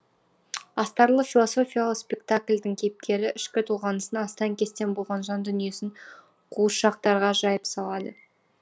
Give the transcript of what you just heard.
астарлы философиялық спектакльдің кейіпкері ішкі толғанысын астан кестен болған жан дүниесін қуыршақтарға жайып салады